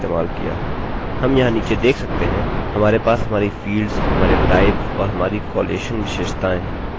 हम यहाँ नीचे देख सकते हैं हमारे पास हमारी फील्ड्स हमारे टाइप्स और हमारी कॉलेशन विशेषताएँ उदाहरण के लिए null डेटा हैं